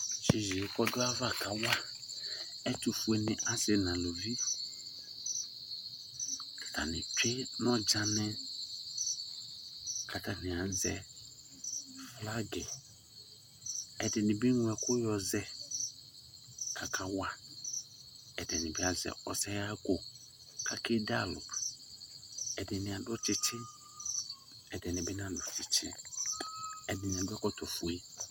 yeye k'ɔdu ava ka wa ɛtufue ni asi n'aluvi atani tsue n'ɔdzani k'atani azɛ flag ɛdini bi eŋlo ɛkò yɔ zɛ aka wa ɛdini bi azɛ ɔsɛ ɣa kò ake de alò ɛdini adu tsitsi ɛdini bi na do tsitsi ɛdini adu ɛkɔtɔ fue